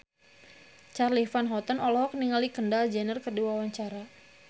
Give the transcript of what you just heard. Charly Van Houten olohok ningali Kendall Jenner keur diwawancara